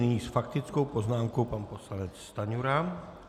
Nyní s faktickou poznámkou pan poslanec Stanjura.